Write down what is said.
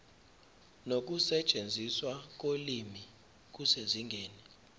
nokusetshenziswa kolimi kusezingeni